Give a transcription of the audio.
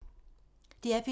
DR P2